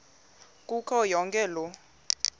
kuyo yonke loo